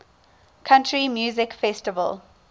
country music festival